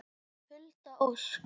Hulda Ósk.